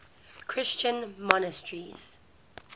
christian monasteries